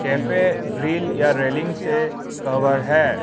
Cafe grill या railing से cover है।